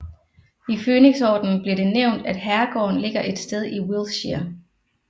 I Fønixordenen bliver det nævnt at herregården ligger et sted i Wiltshire